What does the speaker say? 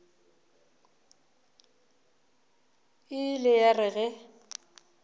e ile ya re ge